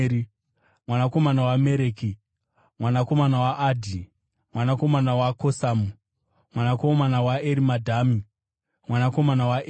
mwanakomana waMereki, mwanakomana waAdhi, mwanakomana waKosamu, mwanakomana waErimadhami, mwanakomana waEri,